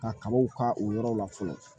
Ka kabaw ka o yɔrɔ la fɔlɔ